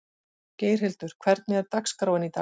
Geirhildur, hvernig er dagskráin í dag?